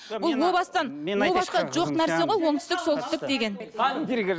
бұл о бастан о бастан жоқ нәрсе ғой оңтүстік солтүстік деген